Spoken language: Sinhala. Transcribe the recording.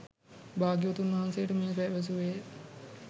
භාග්‍යවතුන් වහන්සේට මෙය පැවසුවේ ය